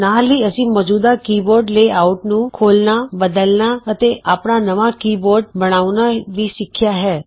ਨਾਲ ਹੀ ਅਸੀਂ ਮੌਜੂਦਾ ਕੀਬੋਰਡ ਲੇਆਉਟ ਨੂੰ ਖੋਲਣਾ ਬਦਲਨਾ ਅਤੇ ਆਪਣਾ ਨਵਾਂ ਕੀ ਬੋਰਡ ਬਣਾਉਣਾ ਵੀ ਸਿਖਿਆ ਹੈ